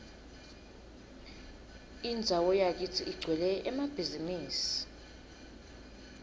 indzawo yakitsi igcwele emabhizimisi